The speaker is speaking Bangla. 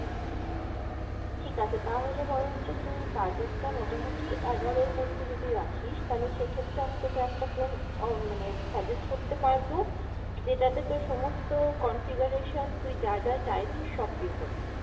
ঠিক আছে তাহলে বরঞ্চ তুই বাজারটা মোটামোটি এগারোর মধ্যে যদি রাখিস তাহলে সেক্ষেত্রে আমি তোকে একটা phone আহ মানে suggest করতে পারবো যেটাতে তোর সমস্ত configuration তুই যা যা চাইছিস সব পেয়ে যাবি।